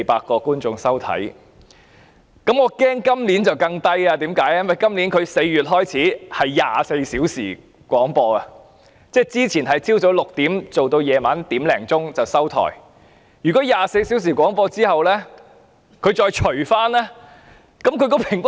我擔心今年的數字會更低，因該台自今年4月起進行24小時廣播，而之前則是早上6時至凌晨1時，那麼在24小時廣播後，平均收視率必會更低。